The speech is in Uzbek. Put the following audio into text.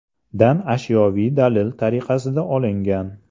dan ashyoviy dalil tariqasida olingan.